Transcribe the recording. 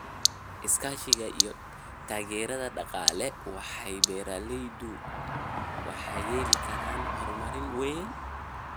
Iskaashiga iyo taageerada dhaqaale, waaxda beeralaydu waxay yeelan karaan horumar weyn.